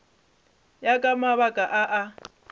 ya ka mabaka a a